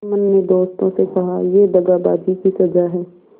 जुम्मन ने दोस्तों से कहायह दगाबाजी की सजा है